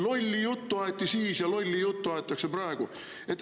Lolli juttu aeti siis ja lolli juttu aetakse praegu.